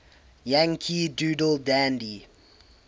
yankee doodle dandy